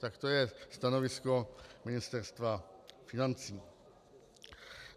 Tak to je stanovisko Ministerstva financí.